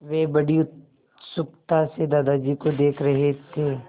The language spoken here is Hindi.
वे बड़ी उत्सुकता से दादाजी को देख रहे थे